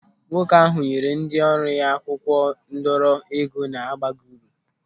Nwoke ahụ nyere ndị ọrụ ya akwụkwọ ndọrọ ego na-abaghị uru.